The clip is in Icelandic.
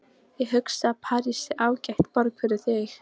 Ég hugsa að París sé ágæt borg fyrir þig.